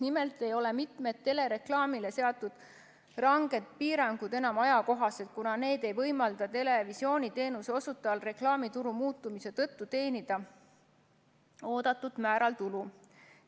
Nimelt ei ole mitu telereklaamile seatud ranget piirangut enam ajakohased, kuna need ei võimalda televisiooniteenuse osutajal reklaamituru muutumise tõttu teenida oodatud määral tulu.